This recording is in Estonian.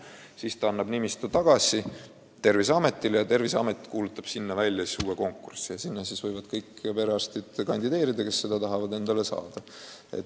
Seejärel ta annab nimistu üle Terviseametile ja Terviseamet kuulutab välja konkursi, kus võivad kandideerida kõik perearstid, kes seda kohta tahavad endale saada.